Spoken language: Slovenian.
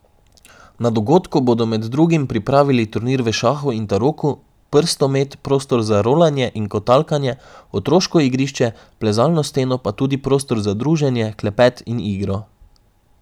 Na dogodku bodo med drugim pripravili turnir v šahu in taroku, prstomet, prostor za rolanje in kotalkanje, otroško igrišče, plezalno steno, pa tudi prostor za druženje, klepet in igro.